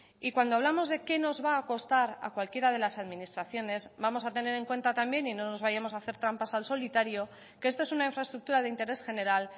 y cuando hablamos de qué nos va a costar a cualquiera de las administraciones vamos a tener en cuenta también y no nos vayamos a hacer trampas al solitario que esto es una infraestructura de interés general